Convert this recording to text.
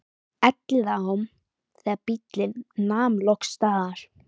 Elliðaám þegar bíllinn nam loks staðar.